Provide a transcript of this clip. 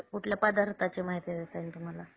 कुठल्या पदार्थांची माहिती देता येईल तुम्हाला?